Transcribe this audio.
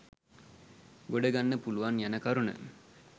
ගොඩ ගන්න පුළුවන් යන කරුණ